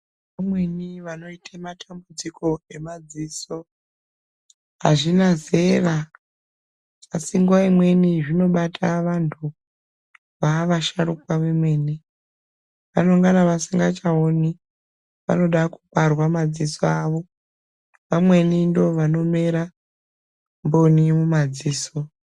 Vamweni vanoite matambidziko emadziso azvina zera asi nguva imweni zvinobata vantu vava vasharukwa vomene, vanonga vasingachaoni vanoda kuparwa madziso avo, vamweni ndivo vanomera koni mumadziso.